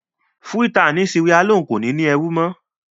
Freetown ni Sierra-Leone kò ní ní ẹrú mọ́.